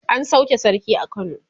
an sauke sarki a kano